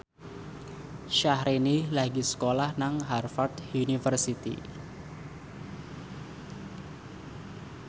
Syahrini lagi sekolah nang Harvard university